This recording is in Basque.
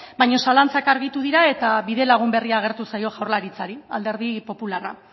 baina zalantzak argitu dira eta bidelagun berria agertu zaio jaurlaritzari alderdi popularra